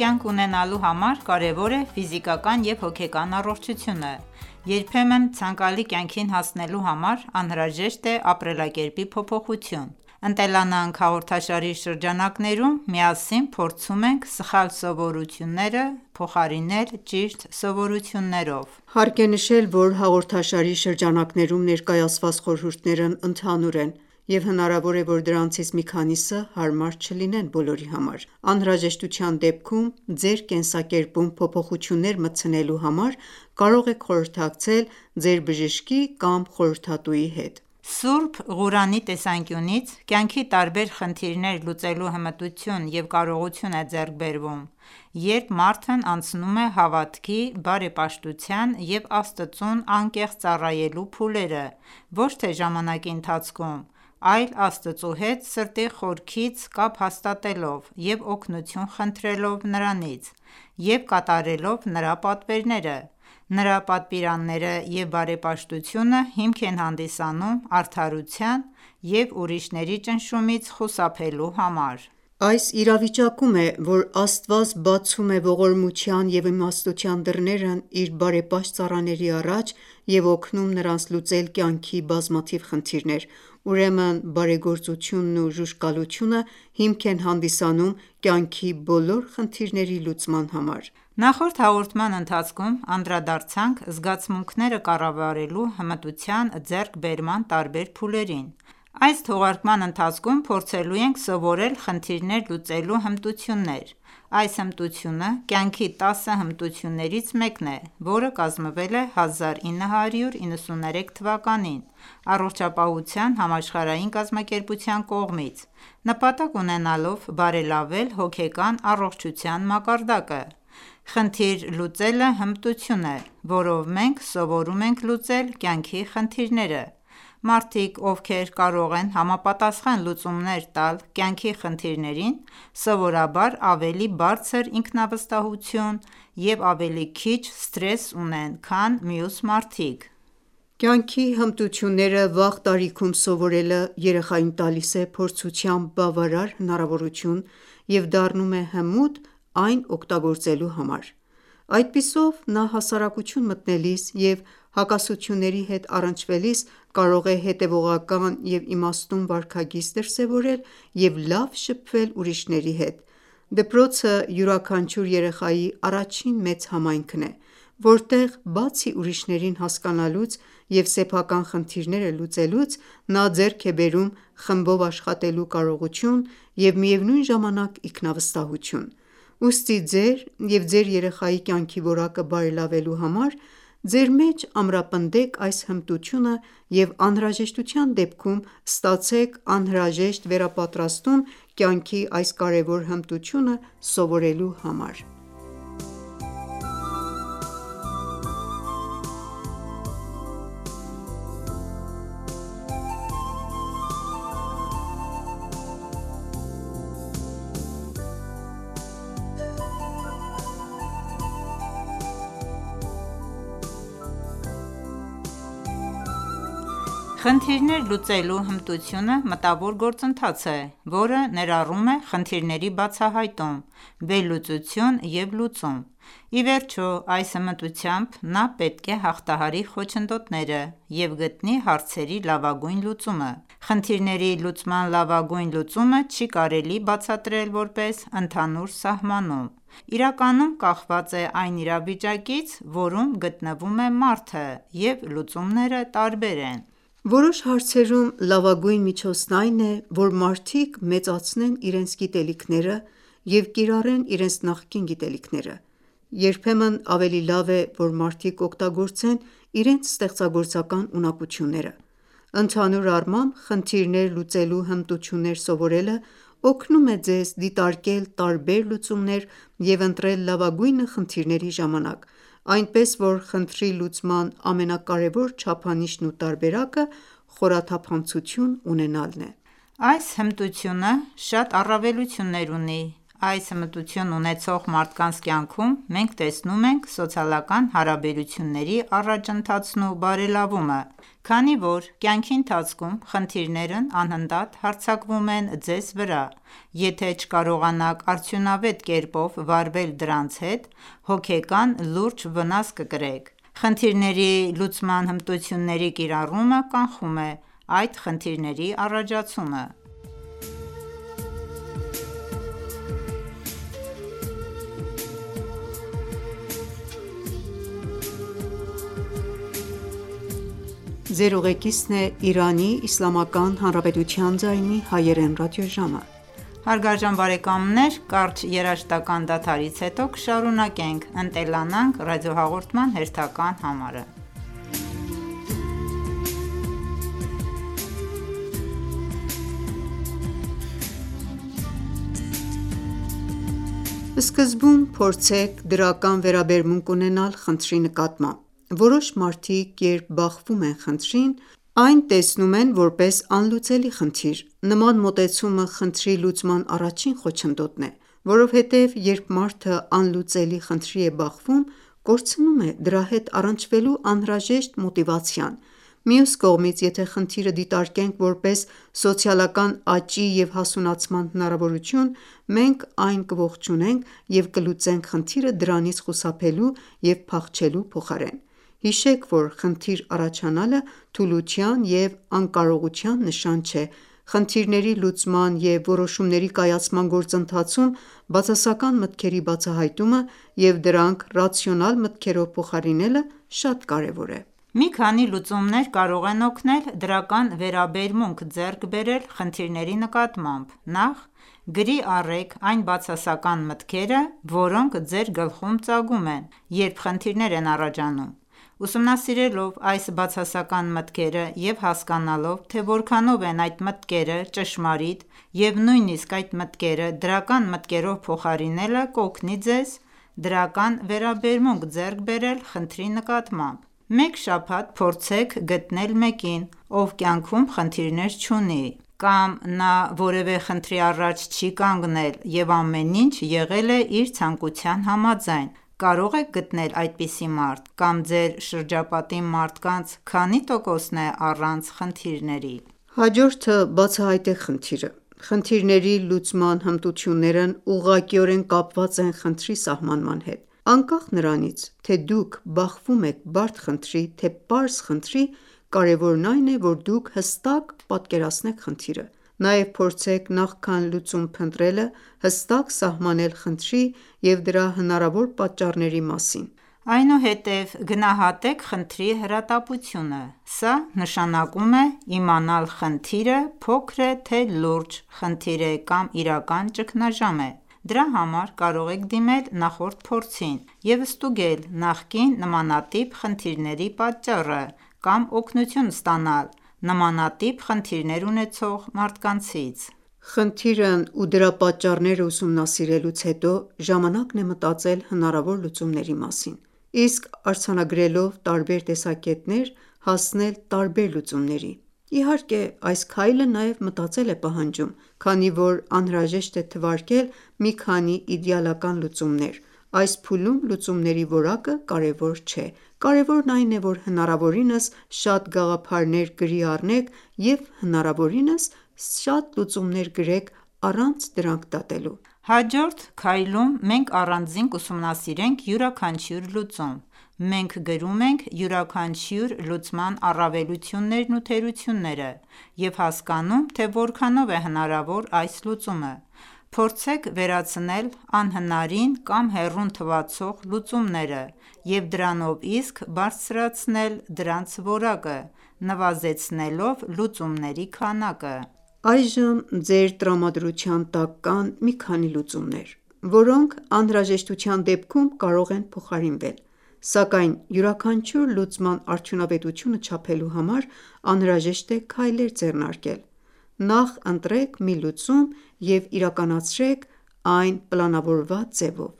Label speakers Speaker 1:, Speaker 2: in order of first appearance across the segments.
Speaker 1: կյանք ունենալու համար կարևոր է ֆիզիկական և հոգեկան առողջությունը։ Երբեմն ցանկալի կյանքին հասնելու համար անհրաժեշտ է ապրելակերպի փոփոխություն։ «Ընտելանանք» հաղորդաշարի շրջանակներում միասին փորձում ենք սխալ սովորությունները փոխարինել ճիշտ սովորություններով։
Speaker 2: Հարկ է նշել, որ հաղորդաշարի շրջանակներում ներկայացված խորհուրդներն ընդհանուր են, և հնարավոր է, որ դրանցից մի քանիսը հարմար չլինեն բոլորի համար: Անհրաժեշտության դեպքում ձեր կենսակերպում փոփոխություններ մտցնելու համար կարող եք խորհրդակցել ձեր բժշկի կամ խորհրդատուի հետ:
Speaker 1: Սուրբ Ղուրանի տեսանկյունից կյանքի տարբեր խնդիրներ լուծելու հմտություն և կարողություն է ձեռք բերվում, երբ մարդն անցնում է հավատքի, բարեպաշտության և Աստծուն անկեղծ ծառայելու փուլերը ոչ թե ժամանակի ընթացքում, այլ Աստծու հետ սրտի խորքից կապ հաստատելով և օգնություն խնդրելով Նրանից և կատարելով Նրա պատվերները: Նրա պատվիրանները, և բարեպաշտությունը հիմք են հանդիսանում արդարության, և ուրիշների ճնշումից խուսափելու համար։
Speaker 2: Այս իրավիճակում է, որ Աստված բացում է ողորմության և իմաստության դռները իր բարեպաշտ ծառաների առաջ և օգնում նրանց լուծել կյանքի բազմաթիվ խնդիրներ: Ուրեմն բարեգործությունն ու ժուժկալությունը հիմք են հանդիսանում կյանքի բոլոր խնդիրների լուծման համար։
Speaker 1: Նախորդ հաղորդման ընթացքում անդրադարձանք զգացմունքները կառավարելու հմտության ձեռքբերման տարբեր փուլերին։ Այս թողարկման ընթացքում փորձելու ենք սովորել «խնդիրներ լուծելու հմտություններ»։ Այս հմտությունը կյանքի տասը հմտություններից մեկն է, որը կազմվել է 1993 թվականին Առողջապահության համաշխարհային կազմակերպության կողմից՝ նպատակ ունենալով բարելավել հոգեկան առողջության մակարդակը։ «Խնդիր լուծելը» հմտություն է, որով մենք սովորում ենք լուծել կյանքի խնդիրները։ Մարդիկ, ովքեր կարող են համապատասխան լուծումներ տալ կյանքի խնդիրներին, սովորաբար ավելի բարձր ինքնավստահություն և ավելի քիչ սթրես ունեն, քան մյուս մարդիկ:
Speaker 2: Կյանքի հմտությունները վաղ տարիքում սովորելը երեխային տալիս է փորձության բավարար հնարավորություն և դառնում է հմուտ այն օգտագործելու համար: Այդպիսով նա հասարակություն մտնելիս և հակասությունների հետ առնչվելիս կարող է հետևողական ու իմաստուն վարքագիծ դրսևորել և լավ շփվել ուրիշների հետ։ Դպրոցը յուրաքանչյուր երեխայի առաջին մեծ համայնքն է, որտեղ բացի ուրիշներին հասկանալուց և սեփական խնդիրները լուծելուց, նա ձեռք է բերում խմբով աշխատելու կարողություն և միևնույն ժամանակ ինքնավստահություն։ Ուստի ձեր և ձեր երեխայի կյանքի որակը բարելավելու համար ձեր մեջ ամրապնդեք այս հմտությունը և, անհրաժեշտության դեպքում, ստացեք անհրաժեշտ վերապատրաստում կյանքի այս կարևոր հմտությունը սովորելու համար:
Speaker 1: Խնդիրներ լուծելու հմտությունը մտավոր գործընթաց է, որը ներառում է խնդիրների բացահայտում, վերլուծություն և լուծում: Ի վերջո, այս հմտությամբ նա պետք է հաղթահարի խոչընդոտները և գտնի հարցերի լավագույն լուծումը։ Խնդիրների լուծման լավագույն լուծումը չի կարելի բացատրել որպես ընդհանուր սահմանում։ Իրականում, կախված է այն իրավիճակից, որում գտնվում է մարդը, և լուծումները տարբեր են։
Speaker 2: Որոշ հարցերում լավագույն միջոցն այն է, որ մարդիկ մեծացնեն իրենց գիտելիքները և կիրառեն իրենց նախկին գիտելիքները: Երբեմն ավելի լավ է, որ մարդիկ օգտագործեն իրենց ստեղծագործական ունակությունները: Ընդհանուր առմամբ, խնդիրներ լուծելու հմտություններ սովորելը օգնում է ձեզ դիտարկել տարբեր լուծումներ և ընտրել լավագույնը խնդիրների ժամանակ: Այնպես որ, խնդրի լուծման ամենակարևոր չափանիշն ու տարբերակը խորաթափանցություն ունենալն է։
Speaker 1: Այս հմտությունը շատ առավելություններ ունի: Այս հմտություն ունեցող մարդկանց կյանքում մենք տեսնում ենք սոցիալական հարաբերությունների առաջընթացն ու բարելավումը։ Քանի որ կյանքի ընթացքում խնդիրներն անընդհատ հարձակվում են ձեզ վրա, եթե չկարողանաք արդյունավետ կերպով վարվել դրանց հետ, հոգեկան լուրջ վնաս կկրեք։ Խնդիրների լուծման հմտությունների կիրառումը կանխում է այդ խնդիրների առաջացումը: Սկզբում փորձեք
Speaker 2: դրական վերաբերմունք ունենալ խնդրի նկատմամբ։ Որոշ մարդիկ, երբ բախվում են խնդրին, այն տեսնում են որպես անլուծելի խնդիր: Նման մոտեցումը խնդրի լուծման առաջին խոչընդոտն է։ Որովհետեւ երբ մարդը անլուծելի խնդրի է բախվում, կորցնում է դրա հետ առնչվելու անհրաժեշտ մոտիվացիան: Մյուս կողմից, եթե խնդիրը դիտարկենք որպես սոցիալական աճի և հասունացման հնարավորություն, մենք այն կողջունենք և կլուծենք խնդիրը դրանից խուսափելու և փախչելու փոխարեն։ Հիշեք, որ խնդիր առաջանալը թուլության և անկարողության նշան չէ։ Խնդիրների լուծման և որոշումների կայացման գործընթացում բացասական մտքերի բացահայտումը և դրանք ռացիոնալ մտքերով փոխարինելը շատ կարևոր է:
Speaker 1: Մի քանի լուծումներ կարող են օգնել դրական վերաբերմունք ձեռք բերել խնդիրների նկատմամբ։ Նախ, գրի առեք այն բացասական մտքերը, որոնք ձեր գլխում ծագում են, երբ խնդիրներ են առաջանում: Ուսումնասիրելով այս բացասական մտքերը և հասկանալով թե որքանով են այդ մտքերը ճշմարիտ, և նույնիսկ այդ մտքերը դրական մտքերով փոխարինելը կօգնի ձեզ դրական վերաբերմունք ձեռք բերել խնդրի նկատմամբ: Մեկ շաբաթ փորձեք գտնել մեկին, ով կյանքում խնդիրներ չունի։ Կամ նա որևէ խնդրի առաջ չի կանգնել և ամեն ինչ եղել է իր ցանկության համաձայն։ Կարո՞ղ եք գտնել այդպիսի մարդ: Կամ ձեր շրջապատի մարդկանց քանի՞ տոկոսն է առանց խնդիրների:
Speaker 2: Հաջորդը, բացահայտեք խնդիրը: Խնդիրների լուծման հմտություններն ուղղակիորեն կապված են խնդրի սահմանման հետ: Անկախ նրանից, թե դուք բախվում եք բարդ խնդրի, թե պարզ խնդրի, կարևորն այն է, որ դուք հստակ պատկերացնեք խնդիրը: Նաև փորձեք, նախքան լուծում փնտրելը հստակ սահմանել խնդրի և դրա
Speaker 1: հնարավոր պատճառների մասին: Այնուհետև գնահատեք խնդրի հրատապությունը: Սա նշանակում է իմանալ՝ խնդիրը փոքր է, թե լուրջ խնդիր է կամ իրական ճգնաժամ է: Դրա համար կարող եք դիմել նախորդ փորձին և ստուգել նախկին նմանատիպ խնդիրների պատճառը կամ օգնություն ստանալ նմանատիպ խնդիրներ ունեցող մարդկանցից:
Speaker 2: Խնդիրն ու դրա պատճառները ուսումնասիրելուց հետո ժամանակն է մտածել հնարավոր լուծումների մասին։ Իսկ արձանագրելով տարբեր տեսակետներ հասնել տարբեր լուծումների: Իհարկե, այս քայլը նաև մտածել է պահանջում, քանի որ անհրաժեշտ է թվարկել մի քանի իդեալական լուծումներ։ Այս փուլում լուծումների որակը կարեւոր չէ։ Կարևորն այն է, որ հնարավորինս շատ գաղափարներ գրի առնենք և հնարավորինս շատ լուծումներ գրենք՝ առանց դրանք դատելու:
Speaker 1: Հաջորդ քայլում մենք առանձին կուսումնասիրենք յուրաքանչյուր լուծում: Մենք գրում ենք յուրաքանչյուր լուծման առավելություններն ու թերությունները և հասկանում թե որքանով է հնարավոր այս լուծումը: Փորձեք վերացնել անհնարին կամ հեռուն թվացող լուծումները և դրանով իսկ բարձրացնել դրանց որակը՝ նվազեցնելով լուծումների քանակը:
Speaker 2: Այժմ ձեր տրամադրության տակ կան մի քանի լուծումներ, որոնք անհրաժեշտության դեպքում կարող են փոխարինվել, սակայն յուրաքանչյուր լուծման արդյունավետությունը չափելու համար անհրաժեշտ է քայլեր ձեռնարկել: Նախ ընտրեք մի լուծում և իրականացրեք այն պլանավորված ձևով։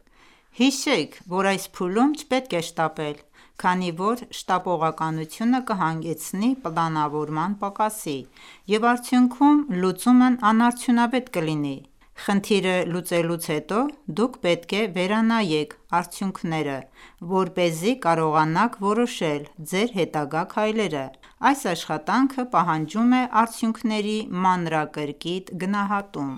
Speaker 1: Հիշեք, որ այս փուլում չպետք է շտապել, քանի որ շտապողականությունը կհանգեցնի պլանավորման պակասի, և արդյունքում լուծումն անարդյունավետ կլինի: Խնդիրը լուծելուց հետո դուք պետք է վերանայեք արդյունքները, որպեսզի կարողանաք որոշել ձեր հետագա քայլերը: Այս աշխատանքը պահանջում է արդյունքների մանրակրկիտ գնահատում: